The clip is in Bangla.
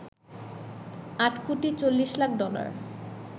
৮ কোটি ৪০ লাখ ডলার